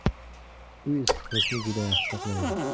Uy issiqlikni juda yaxshi saqlaydi.